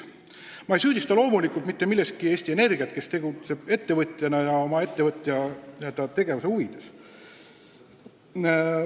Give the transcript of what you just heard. Ma ei süüdista loomulikult mitte milleski Eesti Energiat, kes tegutseb ettevõtjana ja iseenda huvides.